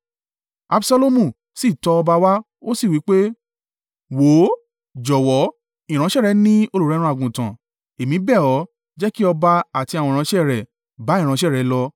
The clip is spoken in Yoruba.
Absalomu sì tọ ọba wá, ó sì wí pé, “Wò ó, jọ̀wọ́, ìránṣẹ́ rẹ ní olùrẹ́run àgùntàn, èmi bẹ̀ ọ́, jẹ́ kí ọba, àti àwọn ìránṣẹ́ rẹ̀ bá ìránṣẹ́ rẹ lọ.”